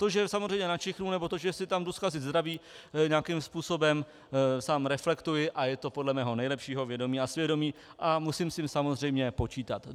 To, že samozřejmě načichnu, nebo to, že si tam jdu zkazit zdraví, nějakým způsobem sám reflektuji a je to podle mého nejlepšího vědomí a svědomí a musím s tím samozřejmě počítat.